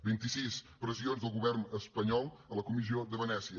vint i sis pressions del govern espanyol a la comissió de venècia